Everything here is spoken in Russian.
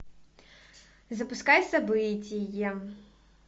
запускай событие